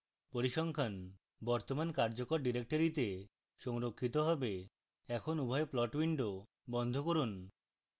পরিসংখ্যান বর্তমান কার্যকর ডিরেক্টরীতে সংরক্ষিত হবে